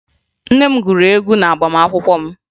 Nne m gụrụ egwu n'agbamaakwụkwọ m